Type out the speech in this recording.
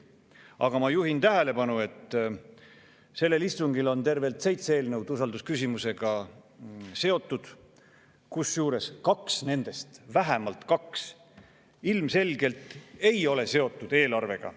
Aga ma juhin tähelepanu, et sellel istungil on tervelt seitse eelnõu, mis on usaldusküsimusega seotud, kusjuures vähemalt kaks nendest ilmselgelt ei ole seotud eelarvega.